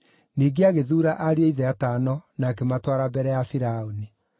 Ningĩ agĩthuura ariũ a ithe atano na akĩmatwara mbere ya Firaũni.